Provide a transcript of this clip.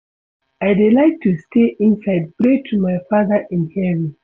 I dey like to stay inside pray to my father in heaven